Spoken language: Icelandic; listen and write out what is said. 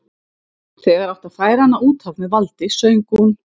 Þegar átti að færa hana út af með valdi söng hún